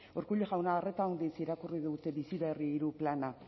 urkullu jauna horretan irakurri dut bizi berri hirugarren plana